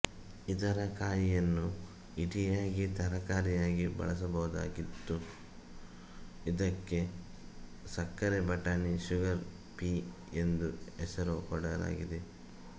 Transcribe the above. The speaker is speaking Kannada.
ಇದರ ಕಾಯಿಯನ್ನು ಇಡಿಯಾಗಿ ತರಕಾರಿಯಾಗಿ ಬಳಸಬಹುದಾಗಿದ್ದು ಇದಕ್ಕೆ ಸಕ್ಕರೆ ಬಟಾಣಿ ಶುಗರ್ ಪೀ ಎಂದೇ ಹೆಸರು ಕೊಡಲಾಗಿದೆ